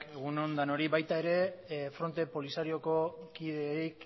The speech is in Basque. egun on denoi baita ere frente polisarioko kideei